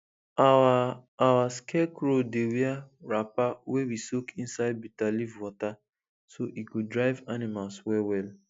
our our scarecrow dey wear wrapper wey we soak inside bitter leaf water so e go drive animals well well